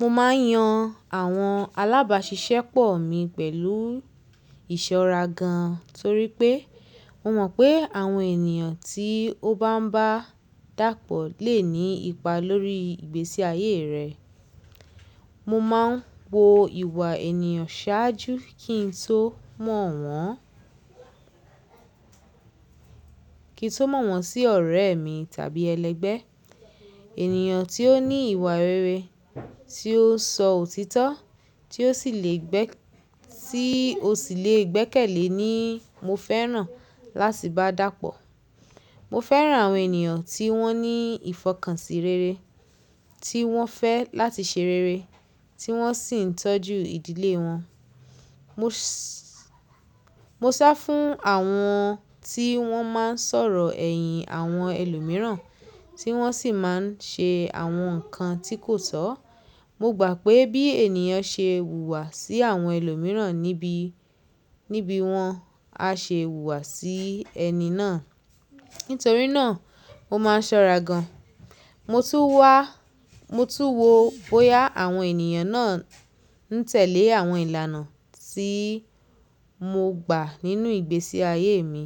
Mo máa ń yan àwọn alábàáṣiṣẹ́pọ̀ mi pẹ̀lú ìṣọ́ra gan torí pé mo mọ̀ pé àwọn ènìyàn tí ó bá ń bá dàpọ̀ lè ní ipa lórí ìgbésí ayé rẹ. Mo máa ń wo ìwà ènìyàn ṣáájú kí n tó mọ̀ wọ́n, kí n tó mọ̀ wọ́n sí ọ̀rẹ́ mi tàbí ẹlẹgbẹ́. Ènìyàn tí ó ní ìwà rere, tí ó sọ òtítọ́, tí ó sì le gbẹ́, tí ó sì le gbẹ́kẹ̀lé ni mo fẹ́ràn láti bá dàpọ̀. Mo fẹ́ràn àwọn ènìyàn tí wọ́n ní ìfọkànsì rere, tí wọ́n fẹ́ láti ṣe rere, tí wọ́n sì ń tọ́jú ìdílé wọn. Mo sá fún àwọn tí wọ́n máa ń sọ̀rọ̀ ẹ̀yìn àwọn ẹlòmíràn tí wọ́n sì máa ń ṣe àwọn nǹkan tí kò tọ́. Mo gbà pé bí ènìyàn ṣe wùwà sí àwọn ẹlòmíràn níbí, níbí wọn á ṣe wùwà sí ẹni náà. Nítorí náà mo máa ń ṣọ́ra gan. Mo tún wá, mo tún wo bóyá àwọn ènìyàn náà ń tẹ̀lé àwọn ìlànà tí mo gbà nínú ìgbésí ayé mi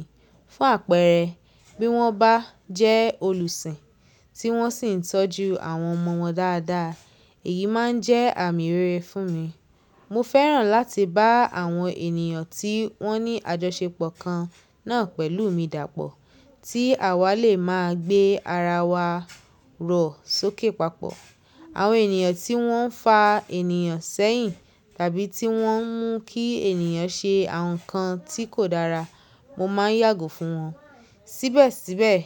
fún àpẹẹrẹ, bí wọ́n bá jẹ́ olùsìn tí wọ́n sì ń tọ́jú àwọn ọmọ wọn dáadáa. Èyí máa ń jẹ́ àmì rere fún mi. Mo fẹ́ràn láti bá àwọn ènìyàn tí wọ́n ní àjọṣepọ̀ kan náà pẹ̀lú mi dàpọ̀ tí àwa lè máa gbé ara wa rọ̀ sókè papọ̀. Àwọn ènìyàn tí wọ́n fa ènìyàn sẹ́yìn tàbí tí wọ́n ń mú kí ènìyàn ṣe àwọn nǹkan tí kò dára, mo máa ń yàgò fún wọn. Síbẹ̀síbẹ̀,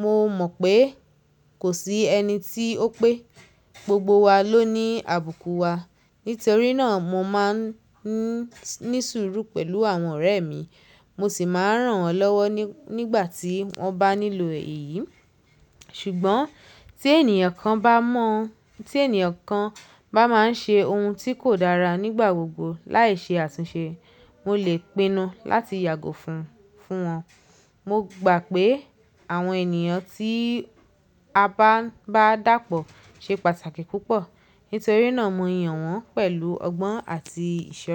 mo mọ̀ pé kò sí ẹni tí ó pé. Gbogbo wa ló ní àbùkù wa. Nítorí náà mo máa ń ní sùúrù pẹ̀lú àwọn ọ̀rẹ́ mi, mo sì máa ń ràn wọ́n lọ́wọ́ nígbà tí wọ́n bá nílò èyí. Ṣùgbọ́n tí ènìyàn kan bá mọ́, tí ènìyàn kan bá máa ń ṣe ohun tí kò dára nígbà gbogbo láì ṣe àtúnṣe, mo lè pinnu láti yàgò fún, fún wọn. Mo gbà pé àwọn ènìyàn tí a bá ń bá dàpọ̀ ṣe pàtàkì púpọ̀. Nítorí náà mo yàn wọ́n pẹ̀lú ọgbọ́n àti ìṣọ́ra.